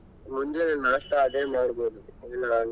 ಮುಂಜಾನೆ नाश्ता ಅದೇ ಮಾಡ್ಬೋದು .